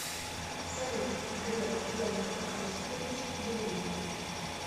салют греф герман оскарович еврей